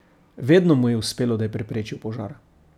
Vedno mu je uspelo, da je preprečil požar.